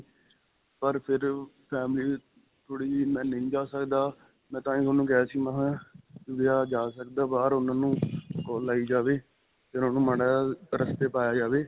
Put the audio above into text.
ਪਰ ਫਿਰ family ਥੋੜੀ ਜੀ ਮੈਂ ਨਹੀ ਜਾਂ ਸਕਦਾ. ਮੈਂ ਤਾਂਹੀ ਤੁਹਾਨੂੰ ਕਿਹਾ ਸੀ ਮਹਾਂ ਜਾਂ ਸਕਦਾ ਬਾਹਰ ਉਨ੍ਹਾਂ ਨੂੰ call ਲਾਈ ਜਾਵੈ ਤੇ ਉਨ੍ਹਾਂ ਨੂੰ ਮਾੜਾ ਜਿਹਾ ਰਸਤੇ ਪਾਇਆਂ ਜਾਵੇ.